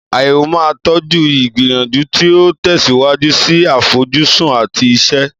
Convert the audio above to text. Àyẹ̀wò máa ń tọ́jú ìgbìyànjú tí ó ń tẹ̀síwájú sí àfojúsùn àti iṣẹ́.